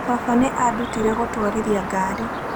Baba nĩ aandutire gũtwarithia ngari.